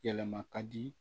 Yɛlɛma ka di